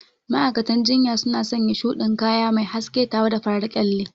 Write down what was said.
Ma'aikatan jinya suna sanya shuɗin kaya mai haske tare da farar kyalle.